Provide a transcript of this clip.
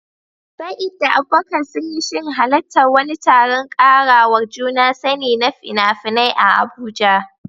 Sa'id da Abubakar sun yi shirin halartar wani taron ƙarawa juna sani na fina-finai a Abuja